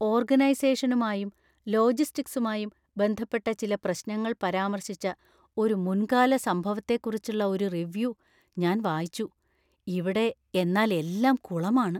ഓർഗനൈസേഷനുമായും ,ലോജിസ്റ്റിക്സുമായും ബന്ധപ്പെട്ട ചില പ്രശ്നങ്ങൾ പരാമർശിച്ച ഒരു മുൻകാല സംഭവത്തെക്കുറിച്ചുള്ള ഒരു റിവ്യൂ ഞാൻ വായിച്ചു. ഇവിടെ എന്നാല്‍ എല്ലാം കുളമാണ്.